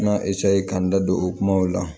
N ka ka n da don o kumaw la